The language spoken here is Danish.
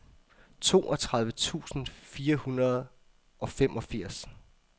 toogtredive tusind fire hundrede og femogfirs